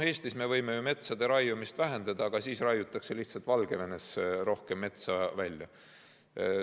Eestis me võime ju metsade raiumist vähendada, aga siis raiutakse lihtsalt Valgevenes rohkem metsa maha.